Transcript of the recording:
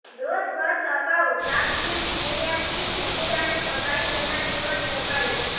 દોષ વર્ષ અગાઉ તાતીથૈયાથી સગીરાને ભગાડી જનાર યુવાન ઝડપાયો